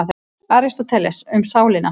Aristóteles, Um sálina.